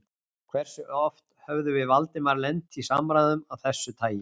Hversu oft höfðum við Valdimar lent í samræðum af þessu tagi?